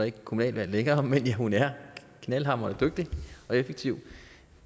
ikke kommunalvalg længere men hun er knaldhamrende dygtig og effektiv og